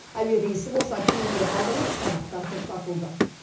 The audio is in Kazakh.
әуе рейсі болса кейінге қалдырылып сабақтар тоқтатылды